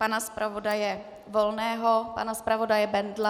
Pana zpravodaje Volného, pana zpravodaje Bendla?